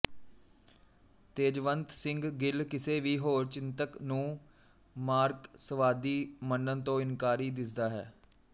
ਤੇਜਵੰਤ ਸਿੰਘ ਗਿੱਲ ਕਿਸੇ ਵੀ ਹੋਰ ਚਿੰਤਕ ਨੂੰ ਮਾਰਕਸਵਾਦੀ ਮੰਨਣ ਤੋਂ ਇਨਕਾਰੀ ਦਿੱਸਦਾ ਹੈ